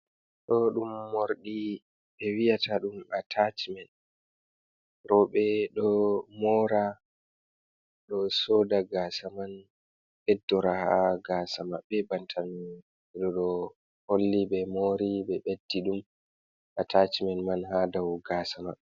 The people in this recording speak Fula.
Ɗo ɗum morɗi ɓe wiyata ɗum atachmen, roɓe ɗo mora ɗo soda gasa man ɓeddora ha gasa maɓɓe, bantano ɓe holli be mori be beddi ɗum atachmen man ha dau gasa maɓɓe.